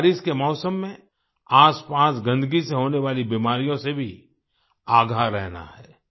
हमें बारिश के मौसम में आसपास गन्दगी से होने वाली बीमारियों से भी आगाह रहना है